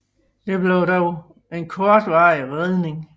Det blev dog en kortvarig redning